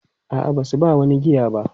A'a, ba su ba wani giya ba.